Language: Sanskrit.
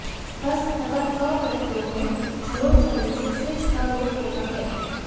थस् तथा थ प्रत्ययों में झलो झलि से सिच् का लोप होता है